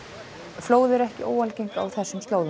flóð eru ekki óalgeng á þessum slóðum